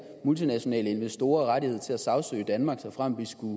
multinationale investorer rettighed til at sagsøge danmark såfremt vi skulle